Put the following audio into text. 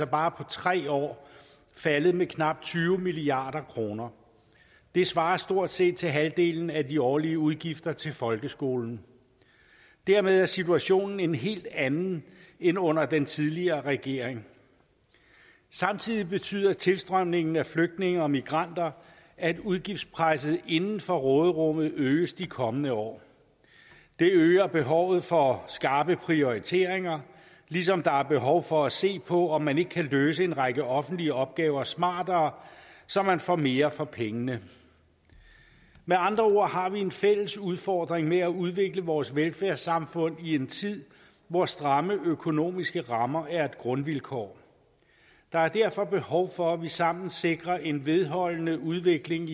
bare tre år faldet med knap tyve milliard kroner det svarer stort set til halvdelen af de årlige udgifter til folkeskolen dermed er situationen en helt anden end under den tidligere regering samtidig betyder tilstrømningen af flygtninge og migranter at udgiftspresset inden for råderummet øges de kommende år det øger behovet for skarpe prioriteringer ligesom der er behov for at se på om man ikke kan løse en række offentlige opgaver smartere så man får mere for pengene med andre ord har vi en fælles udfordring i at udvikle vores velfærdssamfund i en tid hvor stramme økonomiske rammer er et grundvilkår der er derfor behov for at vi sammen sikrer en vedvarende udvikling